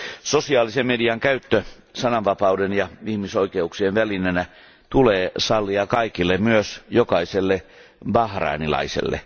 Sosiaalisen median käyttö sananvapauden ja ihmisoikeuksien välineenä tulee sallia kaikille, myös jokaiselle bahrainilaiselle.